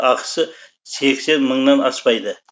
ақысы сексен мыңнан аспайды